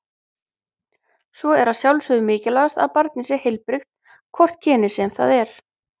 Svo er að sjálfsögðu mikilvægast að barnið sé heilbrigt, hvort kynið sem það er.